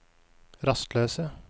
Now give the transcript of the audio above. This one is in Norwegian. rastløse